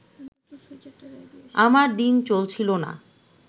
আমার দিন চলছিল না